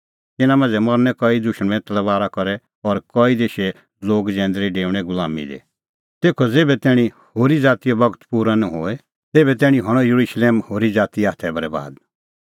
तिन्नां मांझ़ै मरनै कई दुशमणे तलबारा करै और कई देशे लोगा जैंदरी डेऊणैं गुलाम हई तेखअ ज़ेभै तैणीं होरी ज़ातीओ बगत पूरअ निं होए तेभै तैणीं हणअ येरुशलेम होरी ज़ातीए हाथै बरैबाद